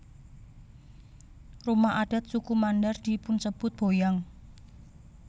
Rumah adat suku Mandar dipunsebut boyang